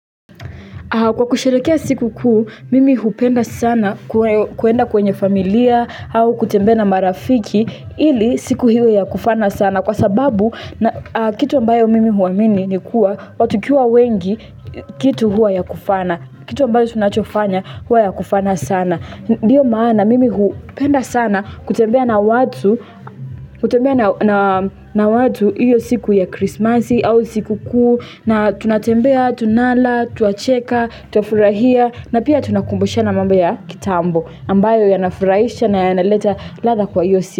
Kwa kusherehekea sikukuu, mimi hupenda sana kwenda kwenye familia au kutembea na marafiki ili siku hiyo ya kufana sana kwa sababu kitu ambayo mimi huamini ni kuwa watu tukiwa wengi kitu huwa ya kufana, kitu ambayo tunachofanya huwa ya kufana sana. Ndio maana mimi hupenda sana kutembea na watu hiyo siku ya krismasi au sikukuu na tunatembea, tunala, twacheka, tuafurahia na pia tunakumboshana mambo ya kitambo ambayo ya nafurahisha na ya naleta ladha kwa hiyo siku.